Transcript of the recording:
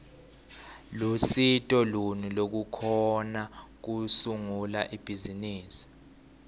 lusito luni lolukhona kusungula ibhizimisi